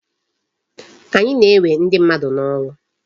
Anyị na-ewe ndị mmadụ n'ọrụ.